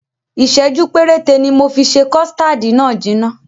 Ìsẹ̀jú péréte ni mofi ṣe kọ̀stáádì náà jìnà.